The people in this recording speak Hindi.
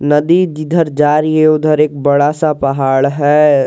नदी जिधर जा रही है उधर एक बड़ा सा पहाड़ है।